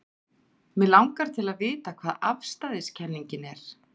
Mig langar til að vita hvað afstæðiskenningin er.